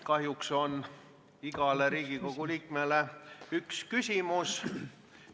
Kahjuks on igale Riigikogu liikmele üks küsimus.